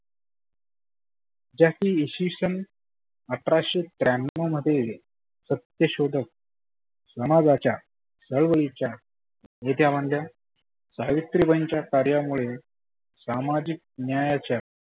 ज्या की इसविसन अठराशे त्र्यानव मध्ये सत्य शोधक समाजाच्या चळवळीच्या नेत्या बनल्या. सावोत्रीबाईंच्या कार्यामुळे सामाजीक न्यायाच्या